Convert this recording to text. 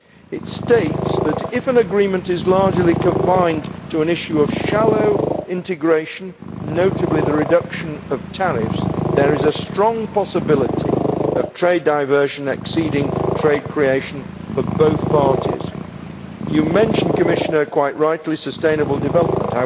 It states that if an agreement is largely confined to an issue of shallow integration, notably, the reduction of tariffs, there is a strong possibility of trade diversion exceeding trade creation for both parties. The Commissioner mentioned, quite rightly, sustainable development.